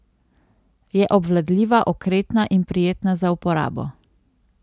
Je obvladljiva, okretna in prijetna za uporabo.